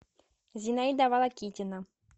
зинаида волокитина